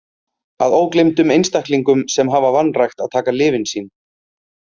Að ógleymdum einstaklingum sem hafa vanrækt að taka lyfin sín.